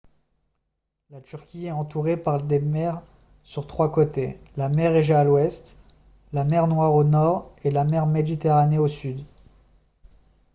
la turquie est entourée par des mers sur trois côtés la mer égée à l'ouest la mer noire au nord et la mer méditerranée au sud